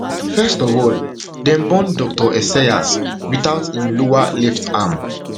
first of all dem born dr esayas witout im lower left arm